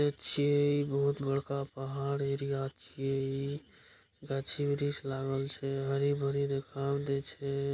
छे बहुत बड़का पहाड़ एरिया छे गाछ वृक्ष लागल छे हरी-भरी दिखाव छे।